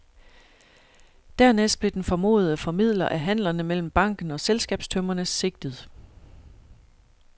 Dernæst blev den formodede formidler af handlerne mellem banken og selskabstømmerne sigtet.